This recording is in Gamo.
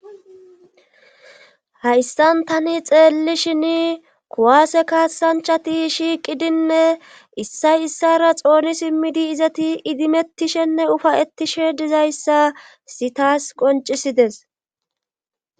Hayssan tani xeelli shin kuwaase kaasanchati shiiqidinne issay issara xooni simmidi izati idimettishenne ufayettishe dizayssa si taas qoncisides.